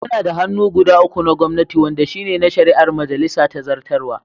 Muna da hannu guda uku na gwamnati wanɗa shine na shari'a, majalisa da zartarwa.